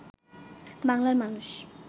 বাংলার মানুষ